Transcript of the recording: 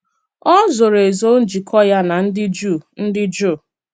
Ọ zòrò ezo njikọ ya na ndị Juu. ndị Juu.